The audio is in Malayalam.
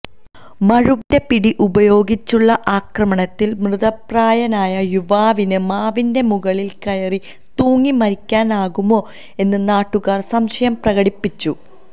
മഴുവിന്റെ പിടി ഉപയോഗിച്ചുള്ള ആക്രമണത്തിൽ മൃതപ്രായനായ യുവാവിന് മാവിന്റെ മുകളിൽ കയറി തൂങ്ങി മരിക്കാനാകുമോ എന്ന് നാട്ടുകാർ സംശയം പ്രകടിപ്പിച്ചു